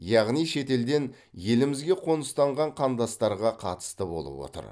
яғни шетелден елімізге қоныстанған қандастарға қатысты болып отыр